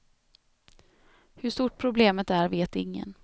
Hur stort problemet är vet ingen.